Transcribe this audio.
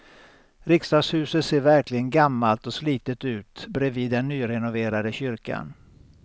Riksdagshuset ser verkligen gammalt och slitet ut bredvid den nyrenoverade kyrkan.